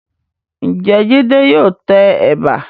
Ǹjẹ́ Jídé yóò tẹ ẹ̀bà?